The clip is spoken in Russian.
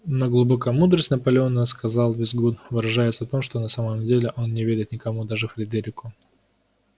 но глубокая мудрость наполеона сказал визгун выражается в том что на самом деле он не верит никому даже фредерику